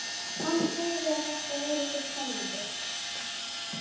Hann sagði að þetta væri svo spennandi.